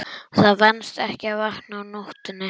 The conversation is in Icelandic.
Það venst ekki að vakna á nóttunni.